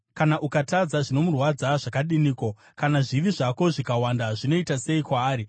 Kana ukatadza, zvinomurwadza zvakadiniko? Kana zvivi zvako zvikawanda, zvinoita sei kwaari?